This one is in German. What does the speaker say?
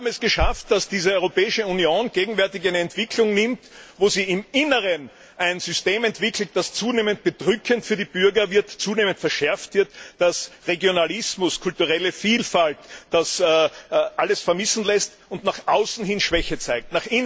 Wir haben es geschafft, dass diese Europäische Union gegenwärtig eine Entwicklung nimmt, wo sie im Inneren ein System entwickelt, das für die Bürger zunehmend bedrückend und zunehmend verschärft wird, das Regionalismus, kulturelle Vielfalt und Ähnliches vermissen lässt und das nach außen hin Schwäche zeigt.